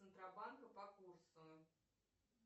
центробанка по курсу